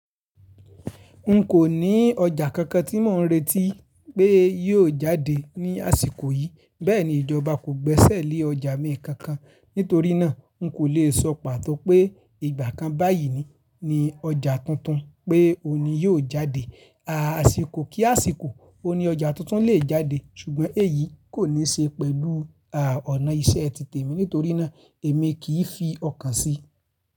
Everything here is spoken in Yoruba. Nko ni ọjà kankan tí mò ń retí pé yóò jáde ní àsìkò yìí, bẹ́ẹ̀ ni ìjọba kò gbẹ́sẹ̀ lé ọjà mi kankan. Nítorí náà, n kò le sọ pàtó pé ìgbà kan báyìí ni ọjà tuntun pé òní yóò jáde. Àsìkò kí àsìkò, òun ní ọjà tuntun le è jáde ṣùgbọ́n èyí kò ní ṣe pẹ̀lú à ọ̀nà iṣẹ́ ti tèmi nítorí náà èmi kì í fi ọkàn si.